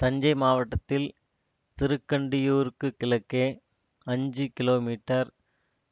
தஞ்சை மாவட்டத்தில் திருக்கண்டியூருக்குக் கிழக்கே அஞ்சு கிலோ மீட்டர்